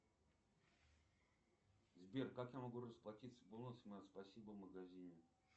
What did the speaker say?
сбер как я могу расплатиться бонусами от спасибо в магазине